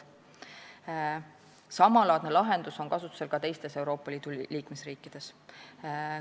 Samalaadne lahendus on kasutusel ka teistes Euroopa Liidu liikmesriikides.